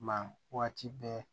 Ma waati bɛɛ